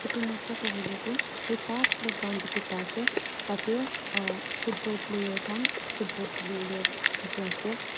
etu noksa te hoile tu ekta playground dikhi pa ase tate ah football player khan football khili wo le thaki ase.